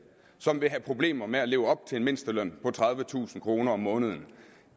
som vil have problemer med at leve op til en mindsteløn på tredivetusind kroner om måneden